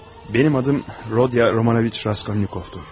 Mənim adım Rodiya Romanoviç Raskolnikovdur.